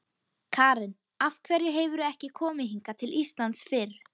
Karen: Af hverju hefurðu ekki komið hingað til Íslands fyrr?